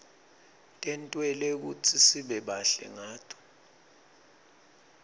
tentelwe kutsi sibe bahle ngato